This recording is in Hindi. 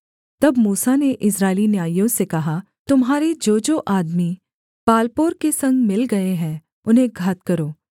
तब मूसा ने इस्राएली न्यायियों से कहा तुम्हारे जोजो आदमी बालपोर के संग मिल गए हैं उन्हें घात करो